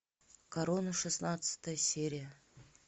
корона шестнадцатая серия